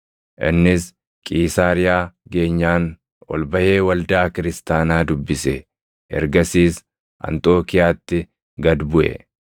Innis Qiisaariyaa geenyaan ol baʼee waldaa kiristaanaa dubbise; ergasiis Anxookiiyaatti gad buʼe.